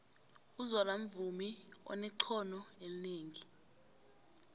uzola mvumi onexhono elinengi